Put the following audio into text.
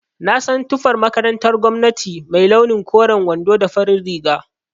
Na san tufar makarantar gwamnati mai launi koren wando da farin riga